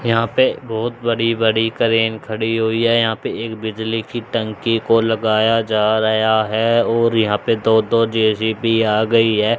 यहां पे बहोत बड़ी बड़ी क्रेन खड़ी हुई है यहां पे एक बिजली की टंकी को लगाया जा रया है और यहां पे दो दो जे_सी_बी आ गई है।